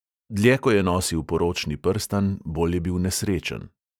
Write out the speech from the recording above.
Dlje ko je nosil poročni prstan, bolj je bil nesrečen.